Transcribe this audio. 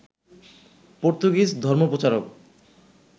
Portuguese ধর্মপ্রচারক